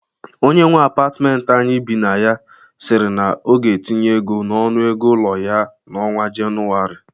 Onye nwe apatmenti anyị bi na ya siri na ọ ga-etinye ego n'ọnụ ego ụlọ ya n'ọnwa Jenụarị